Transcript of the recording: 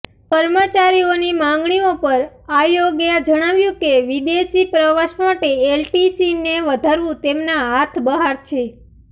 કર્મચારીઓની માગણીઓ પર આયોગે જણાવ્યું કે વિદેશી પ્રવાસ માટે એલટીસીને વધારવું તેમના હાથ બહાર છે